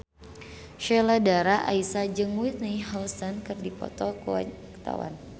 Sheila Dara Aisha jeung Whitney Houston keur dipoto ku wartawan